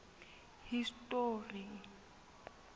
history